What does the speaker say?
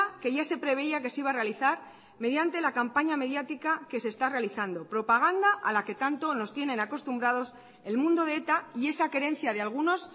que ya se preveía que se iba a realizar mediante la campaña mediática que se está realizando propaganda a la que tanto nos tienen acostumbrados el mundo de eta y esa querencia de algunos